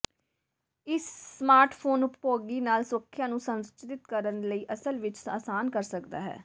ਇਸ ਸਮਾਰਟਫੋਨ ਉਪਭੋਗੀ ਨਾਲ ਸੁਰੱਖਿਆ ਨੂੰ ਸੰਰਚਿਤ ਕਰਨ ਲਈ ਅਸਲ ਵਿੱਚ ਆਸਾਨ ਕਰ ਸਕਦਾ ਹੈ